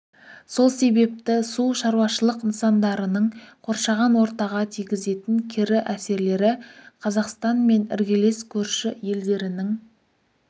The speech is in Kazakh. сол себепті су шаруашылық нысандарының қоршаған ортаға тигізетін кері әсерлері қазақстан мен іргелес көрші елдерінің